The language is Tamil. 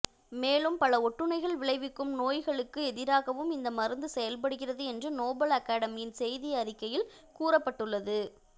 மேலும் பல ஒட்டுண்ணிகள் விளைவுக்கும் நோய்களுக்கு எதிராகவும் இந்த மருந்து செயல்படுகிறது என்று நோபல் அகாடமியின் செய்தி அறிக்கையில் கூறப்பட்டுள்ளது